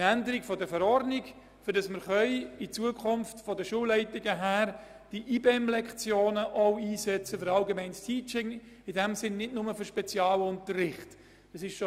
Es braucht eine Änderung der Verordnung, damit die Schulleitungen in Zukunft die IBEM-Lektionen auch für das allgemeine Teamteaching und nicht nur für den Spezialunterricht einsetzen können.